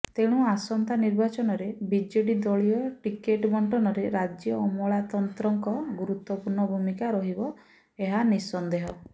ତେଣୁ ଆସନ୍ତା ନିର୍ବାଚନରେ ବିଜେଡି ଦଳୀୟ ଟିକେଟ୍ ବଣ୍ଟନରେ ରାଜ୍ୟ ଅମଳାତନ୍ତ୍ରଙ୍କ ଗୁରୁତ୍ୱପୂର୍ଣ୍ଣ ଭୂମିକା ରହିବ ଏହା ନିଃସନ୍ଦେହ